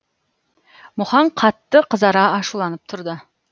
мұхаң қатты қызара ашуланып тұрды